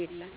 የለም።